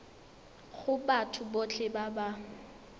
go batho botlhe ba ba